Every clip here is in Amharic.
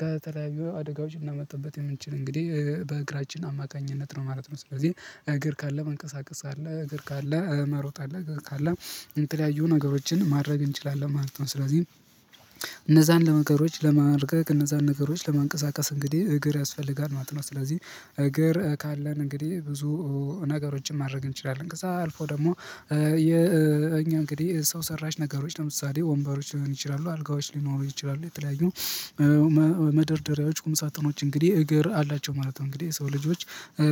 ከተለያዩ አደጋዎች ልናመልጥበት የምንችል እንግዲህ በእግራችን አማካኝነት ነው ማለት ነው። ስለዚህ እግር ካለ መንቀሳቀስ አለ እግር ካለ መሮጥ አለ እግር ካለ የተለያዩ ነገሮችን ማድረግ እንችላለን ማለት ነው። ስለዚህ ለነገሮች ለማድረግ እነዛን ነገሮች ለማንቀሳቀስ እንግዲህ እግር ያስፈልጋል ማለት ነው። ስለዚህ እግር ካለን እንግዲህ ብዙ ነገሮችን ማድረግ እንችላለን። ከዛ አልፎ ደግሞ የእኛ እንግዲህ ሰው ሰራሽ ነገሮች ለምሳሌ ወንበሮች ሊሆን ይችላሉ አልጋዎች ሊኖሩ ይችላሉ የተለያዩ መደርደሪያዎች ቁም ሳጥኖች እንግዲህ እግር አላቸው ማለት ነው። እንግዲህ የሰው ልጆች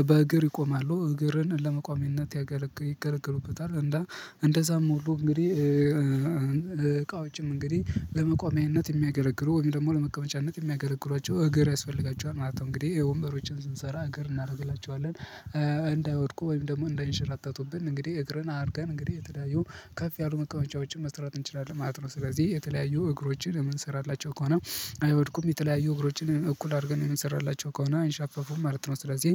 በእግር ይቆማሉ እግርን ለመቋሚነት ያገለገሉበታል። እንደ እንደዛም ሞሉ እንግዲህ እቃውጭም እንግዲህ ለመቋሚያነት የሚያገረግሩ ወይም ደግሞ ለመቀመጫነት የሚያገረግሯቸው እግር ያስፈልጋቸዋል ማለት ነው። እንግዲህ ወንበሮችን ስንሰራ እግር እናደርግላቸዋለን እንዳይወድቁ ወይም ደግሞ እንዳይንሸራተቱብን እንግዲህ እግርን አድርገን እንግዲህ የተለያዩ ከፍ ያሉ መቃወምጫዎችን መስራት እንችላለን ማለት ነው። ስለዚህ የተለያዩ እግሮችን የምንሰራላቸው ከሆነ አይወድቁም የተለያዩ እግሮችን እኩል አድርገን የምንሰራላቸው ከሆነ አይንሻፈፉም ማለት ነው። ስለዚህ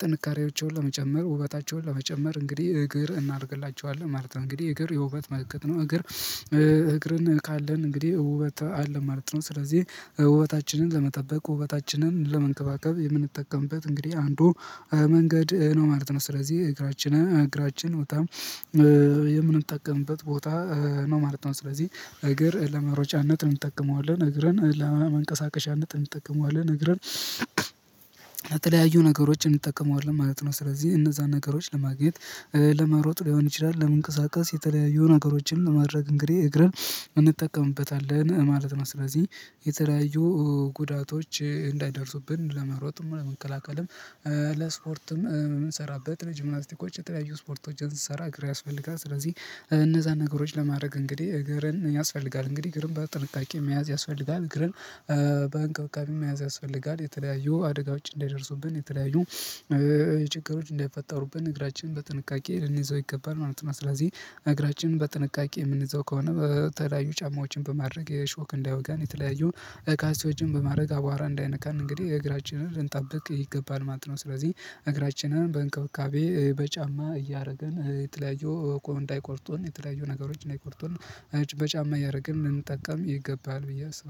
ጥንካሬዎቻቸውን ለመጨመር ውበታቸውን ለመጨመር እንግዲህ እግር እናደርግላቸዋለን ማለት ነው። እንግዲህ እግር የውበት መልእክት ነው። እግር እግርን ካለን እንግዲህ ውበት አለ ማለት ነው። ስለዚህ ውበታችንን ለመጠበቅ ውበታችንን ለመንከባከብ የምንጠቀምበት እንግዲህ አንዱ መንገድ ነው ማለት ነው። ስለዚህ እግራችን እግራችን በጣም የምንጠቀምበት ቦታ ነው ማለት ነው። ስለዚህ እግር ለመሮጫነት እንጠቀመዋለን እግርን እንጥም እንጠቀመዋለን ንገረን የተለያዩ ነገሮችን እንጠቀመዋለን ማለት ነው። ስለዚህ እነዛን ነገሮች ለማግኘት ለመሮጥ ሊሆን ይችላል። ለመንቀሳቀስ የተለያየው ነገሮችን ለማድረግ እንግዲህ እግርህ እንጠቀምበታለን ማለት ነው። ስለዚህ የተለያዩ ጉዳቶች እንዳይደርሱብን ለመሮጥም ለመከላከልም ለስፖርትም የምንሰራበት ለጂምናትስቲኮች የተለያዩ ስፖርቶችን ስሰራ አግሬ ያስፈልጋል። ስለዚህ እነዛን ነገሮች ለማድረግ እንግዲህ እግርን ያስፈልጋል እንግዲህ እግርም በጥንቃቄ መያዝ ያስፈልጋል። ግርም በእንክብካቤ መያዝ ያስፈልጋል የተለያዩ አደጋወች እንይደርሱብን የተለያዩ የችግሮች እንዳይፈጠሩብን እግራችንን በጥንቃቄ ልንይዘው ይገባል ማለት ነው። ስለዚህ እግራችንን በጥንቃቄ የምንዘው ከሆነ በተለያዩ ጫማዎችን በማድረግ የሾክ እንዳይወጋን የተለያዩ ካልሲዎችን በማድረግ አቧራ እንዳይነካን እንግዲህ የእግራችንን ልንጠብቅ ይገባል ማለት ነው። ስለዚህ እግራችንን በእንካቤ በጫማ እያደረገን የተለያየው እቃ እንዳይቆርጡን የተለያየው ነገሮችን እንዳይቆርጡን በጫማ እያደረግን ልንጠቀም ይገባል። ብዬ አስባለሁ